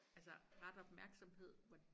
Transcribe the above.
Altså ret opmærksomhed hvor